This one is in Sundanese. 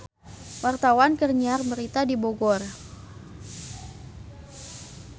Wartawan keur nyiar berita di Bogor